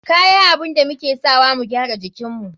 Kya abun da muke sawa mu gyara jikinmu.